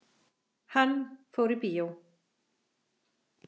Hann fór í bíó.